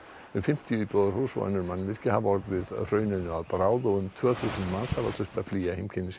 um fimmtíu íbúðarhús og önnur mannvirki hafa orðið hrauninu að bráð og um tvö þúsund manns hafa þurft að flýja heimkynni sín